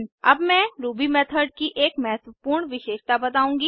अब मैं Ruby method की एक महत्वपूर्ण विशेषता बताऊँगी